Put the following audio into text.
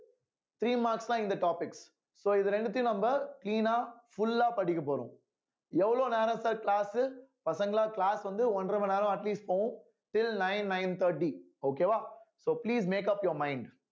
three marks தான் இந்த topic so இது ரெண்டத்தையும் நம்ப clean ஆ full ஆ படிக்கப் போறோம் எவ்வளவு நேரம் sir class உ பசங்களா class வந்து ஒன்றரை மணி நேரம் at least போகும் till nine nine thirty okay வா so please makeup your mind